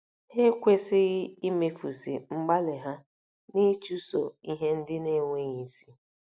Ha ekwesịghị imefusị mgbalị ha n'ịchụso ihe ndị na-enweghị isi.